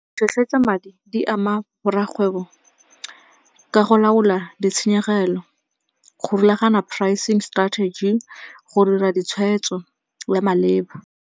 Tlhotlheletsa madi di ama borra kgwebo ka go laola ditshenyegelo, go rulagana prising strategy, go dira ditshwetso le maleba.